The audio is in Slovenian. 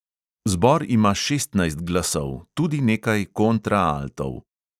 Zbor ima šestnajst glasov, tudi nekaj kontraaltov.